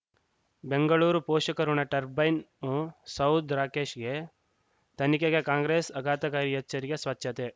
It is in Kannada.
ಬೆಂಗಳೂರು ಪೋಷಕರಋಣ ಟರ್ಬೈನು ಸೌಧ್ ರಾಕೇಶ್ ತನಿಖೆಗೆ ಕಾಂಗ್ರೆಸ್ ಆಘಾತಕಾರಿ ಎಚ್ಚರಿಕೆ ಸ್ವಚ್ಛತೆ